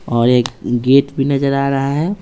और एक गेट भी नजर आ रहा है।